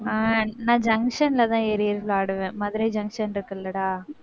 ஆஹ் நான், junction லதான் ஏறி விளையாடுவேன். மதுரை junction இருக்குல்லடா.